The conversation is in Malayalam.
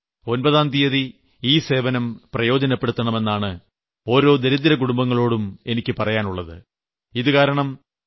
ഓരോ ഗർഭവതിയായ സ്ത്രീയും ഒമ്പതാം തീയതി ഈ സേവനം പ്രയോജനപ്പെടുത്തണം എന്നാണ് ഓരോ ദരിദ്രകുടുംബങ്ങളോടും എനിക്ക് പറയാനുള്ളത്